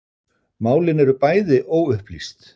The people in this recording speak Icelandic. Málin eru bæði óupplýst